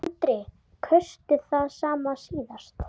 Andri: Kaustu það sama síðast?